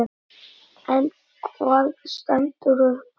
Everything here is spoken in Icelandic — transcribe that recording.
En hvað stendur uppúr?